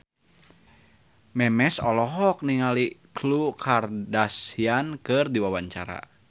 Memes olohok ningali Khloe Kardashian keur diwawancara